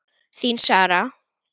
Þín Sara.